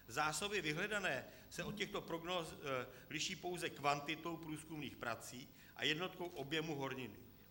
Zásoby vyhledané se od těchto prognóz liší pouze kvantitou průzkumných prací a jednotkou objemu horniny.